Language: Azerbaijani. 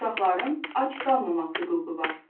Uşaqların ac qalmamaq hüququ var.